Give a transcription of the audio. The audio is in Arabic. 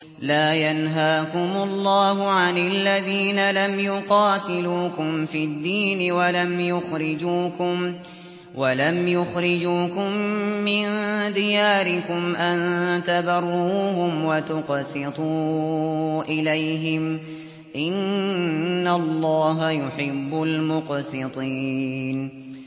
لَّا يَنْهَاكُمُ اللَّهُ عَنِ الَّذِينَ لَمْ يُقَاتِلُوكُمْ فِي الدِّينِ وَلَمْ يُخْرِجُوكُم مِّن دِيَارِكُمْ أَن تَبَرُّوهُمْ وَتُقْسِطُوا إِلَيْهِمْ ۚ إِنَّ اللَّهَ يُحِبُّ الْمُقْسِطِينَ